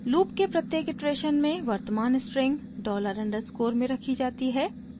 loop के प्रत्येक iteration में वर्तमान स्ट्रिंग $_ में रखी जाती है